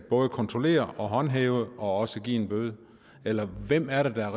kontrollere og håndhæve og også give en bøde eller hvem er det der er